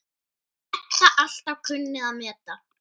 Edda alltaf kunnað að meta.